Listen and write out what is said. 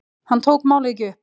Hann tók málið ekki upp.